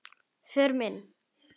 Förum inn.